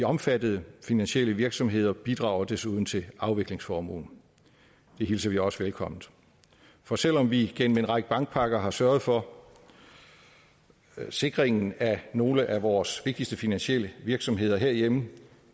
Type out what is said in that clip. omfattede finansielle virksomheder bidrager desuden til afviklingsformuen det hilser vi også velkomment for selv om vi igennem en række bankpakker har sørget for sikringen af nogle af vores vigtigste finansielle virksomheder herhjemme